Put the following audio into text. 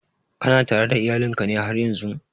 Kana tare da iyalin ka ne haryan zun?